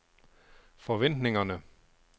forventningerne